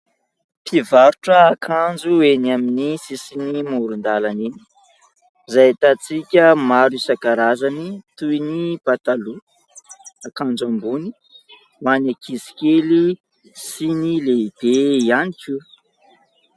Mpivarotra akanjo eny amin'ny sisin'ny moron-dalana eny izay ahitantsika maro isankarazany toy ny pataloha, akanjo ambony ho an'ny ankizikely sy ny lehibe ihany koa.